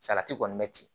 Salati kɔni bɛ ci